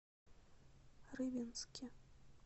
рыбинске